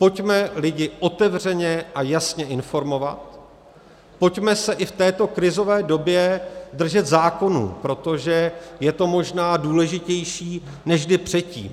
Pojďme lidi otevřeně a jasně informovat, pojďme se i v této krizové době držet zákonů, protože je to možná důležitější než kdy předtím.